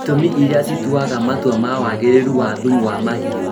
Itũmi iria cituaga matua ma wagĩrĩru wa thumu wa mahiũ